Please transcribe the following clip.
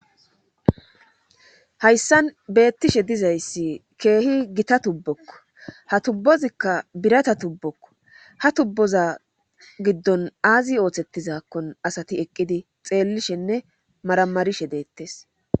Hayssan beettishe diza issi keehi gita tubbokko. Ha tubbozikka birata tubbokko. Ha tubboza giddon aazi ooseettizakkon asati eqqidi xeellishenne maramarishe deettes.